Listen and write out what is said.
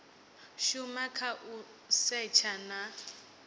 shuma kha u setsha na